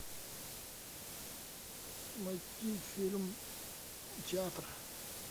найти фильм театр